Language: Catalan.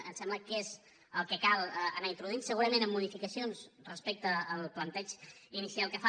ens sembla que és el que cal anar introduint segurament amb modificacions respecte al planteig inicial que fa